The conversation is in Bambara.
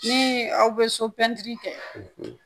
Ni aw bɛ so pɛntiri kɛ